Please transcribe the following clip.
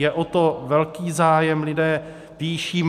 Je o to velký zájem, lidé píší.